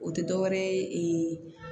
O tɛ dɔ wɛrɛ ye